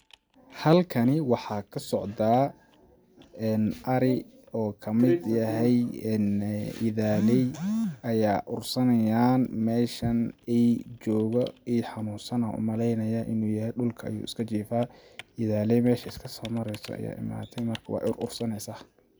Halkani waxaa ka socdaa ar i oo kamid yahay idaaleey ayaa ursanayaan meeshan eey jooga ,eey xanuunsan ayaan u makeynayaa inuu yahay ,dhulka ayuu iska jifaa ,idaleey meesha iska soo mareyso ayaa imaate marka weey ur ur saneysaa.